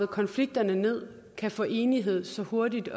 konflikterne ned kan få enighed så hurtigt